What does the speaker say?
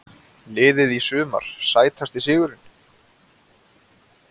Liðið í sumar Sætasti sigurinn?